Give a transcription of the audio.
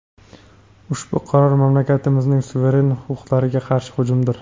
Ushbu qaror mamlakatimizning suveren huquqlariga qarshi hujumdir.